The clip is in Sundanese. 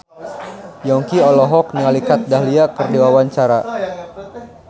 Yongki olohok ningali Kat Dahlia keur diwawancara